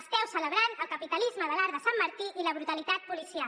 esteu celebrant el capitalisme de l’arc de sant martí i la brutalitat policial